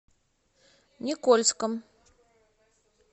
никольском